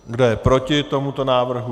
Kdo je proti tomuto návrhu?